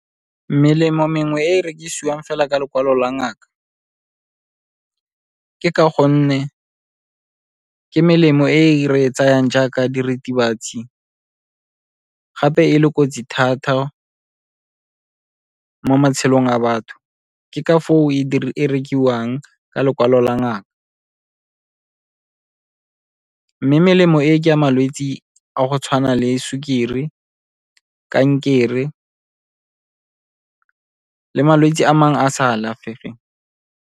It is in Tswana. Melemo mengwe e e rekisiwang fela ka lekwalo la ngaka, ke ka gonne ke melemo e re tsayang jaaka diritibatsi, gape e le kotsi thata mo matshelong a batho. Ke ka foo e rekiwang ka lekwalo la ngaka. Mme melemo e ke a malwetse a go tshwana le sukiri, kankere le malwetse a mangwe a a sa alafegeng.